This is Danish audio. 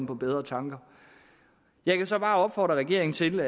på bedre tanker jeg kan så bare opfordre regeringen til